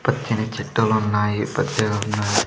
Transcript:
పచ్చని చెట్టెలు ఉన్నాయి పచ్చగా ఉన్నాయి .